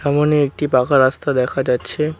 সামোনে একটি পাকা রাস্তা দেখা যাচ্ছে।